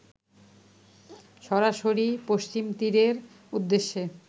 সরাসির পশ্চিমতীরের উদ্দেশ্যে